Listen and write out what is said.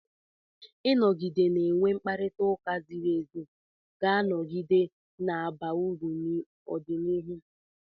Ịnọgide na-enwe mkparịta ụka ziri ézí ga-anọgide na-aba uru n'ọdịnihu.